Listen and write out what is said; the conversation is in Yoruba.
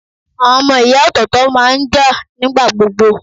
Àwọn ọmọ ìyá ọ̀tọ̀ọ̀tọ̀ máa ń jà nigbagbogbo.